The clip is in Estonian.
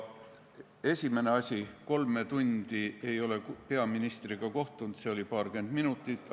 Esimene asi: kolme tundi ei ole ma peaministriga kohtunud, see kohtumine kestis paarkümmend minutit.